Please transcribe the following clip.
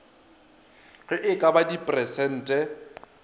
ge e ka ba dipersente